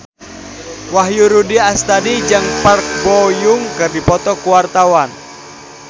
Wahyu Rudi Astadi jeung Park Bo Yung keur dipoto ku wartawan